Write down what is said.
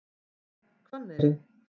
Hvanneyri